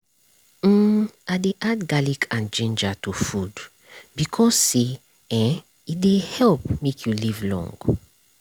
hm i dey add garlic and ginger to food bacause say eh e dey help make you live long.